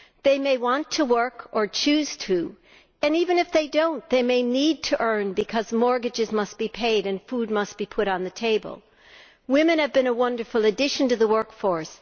They may want to work, or choose to, and even if they do not, they may need to earn because mortgages must be paid and food must be put on the table. Women have been a wonderful addition to the workforce.